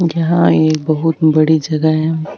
यहाँ एक बहुत बड़ी जगह है।